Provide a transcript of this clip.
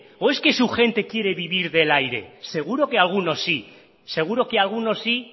o es que su gente quiere vivir del aire seguro que alguno sí seguro que alguno sí